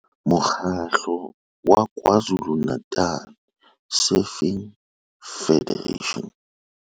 Mo kgatlo wa KwaZulu-Natal Surfing Federation.